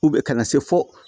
U bɛ ka na se fɔ